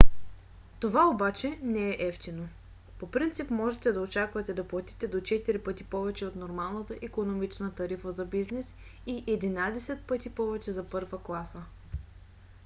това обаче не е евтино: по принцип можете да очаквате да платите до четири пъти повече от нормалната икономична тарифа за бизнес и единадесет пъти повече за първа класа!